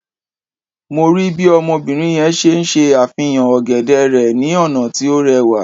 Mo rii bi obinrin yẹn ṣe ṣe afihan ogede rẹ ni ọna ti o rẹwa